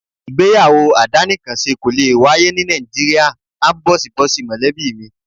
Ìgbéyàwó àdánìkanṣe kò lè wáyé ní Nàìjíríà áńbọ̀síbọ̀sí mọ̀lẹ́bí mi.